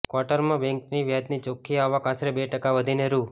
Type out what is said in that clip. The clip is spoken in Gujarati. ક્વાર્ટરમાં બેન્કની વ્યાજની ચોખ્ખી આવક આશરે બે ટકા વધીને રૂ